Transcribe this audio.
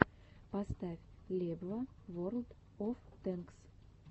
поставь лебва ворлд оф тэнкс